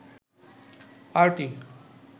party